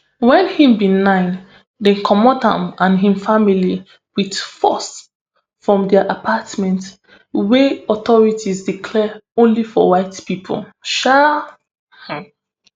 wen im bin nine dem comot im and im family wit force from dia apartment wey authorities declare only for white pipo um